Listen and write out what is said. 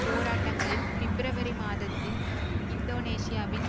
போராட்டங்களில் பிப்ரவரி மாதத்தில் இந்தோனேசியாவின்